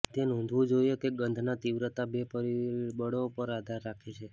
તે નોંધવું જોઇએ કે ગંધ ના તીવ્રતા બે પરિબળો પર આધાર રાખે છે